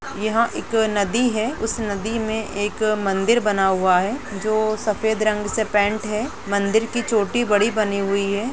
यहाँ एक नदी है उस नदी में एक मंदिर बना हुआ है जो सफेद रंग से पेंट है। मंदिर की चोटी बड़ी बनी हुई है।